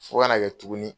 Fo ka na kɛ tuguni